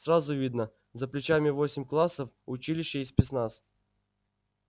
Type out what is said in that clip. сразу видно за плечами восемь классов училище и спецназ